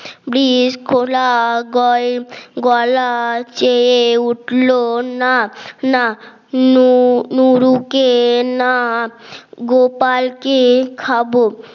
বৃষ কোলা গলার চেয়ে উঠলো না না নূর নুরুকে না গোপালকে খাব